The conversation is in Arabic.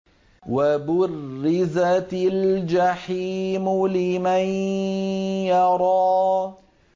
وَبُرِّزَتِ الْجَحِيمُ لِمَن يَرَىٰ